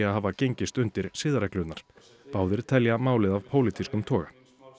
að hafa gengist undir siðareglurnar báðir telja málið af pólitískum toga